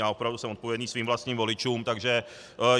Já opravdu jsem odpovědný svým vlastním voličům, takže...